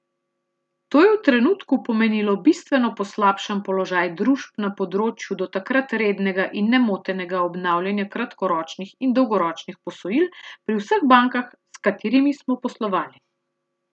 To je v trenutku pomenilo bistveno poslabšan položaj družb na področju do takrat rednega in nemotenega obnavljanja kratkoročnih in dolgoročnih posojil pri vseh bankah s katerimi smo poslovali.